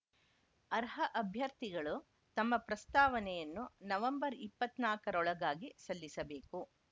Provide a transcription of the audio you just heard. ಅರ್ಹ ಅಭ್ಯರ್ಥಿಗಳು ತಮ್ಮ ಪ್ರಸ್ತಾವನೆಯನ್ನು ನವೆಂಬರ್ ಇಪ್ಪತ್ತ್ ನಾಲ್ಕರೊಳಗಾಗಿ ಸಲ್ಲಿಸಬೇಕು